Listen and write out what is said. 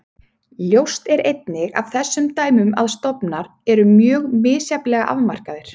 Ljóst er einnig af þessum dæmum að stofnar eru mjög misjafnlega afmarkaðir.